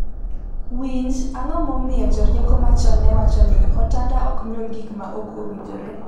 Winj, ango momiyo jorieko machon newacho ni “otanda ok nyuol gik ma ok owinjore”?